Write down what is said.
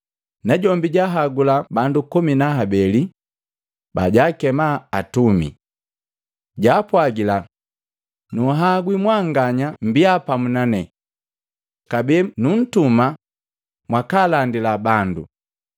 najombi jahagula bandu komi na habeli, bajaakema atumi. Jaapwagila, “Nunhagwi mwanganya mmbia pamu nane. Kabee nuntuma mwakalandila bandu.